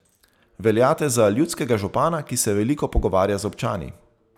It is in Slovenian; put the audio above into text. Veljate za ljudskega župana, ki se veliko pogovarja z občani.